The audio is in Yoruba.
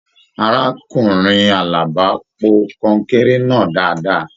Arákùnrin Àlàbá pò kọnkéré náà dáadáa.